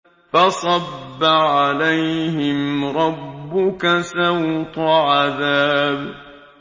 فَصَبَّ عَلَيْهِمْ رَبُّكَ سَوْطَ عَذَابٍ